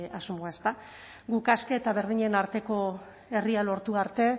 asmoa guk aske eta berdinen arteko herria lortu arte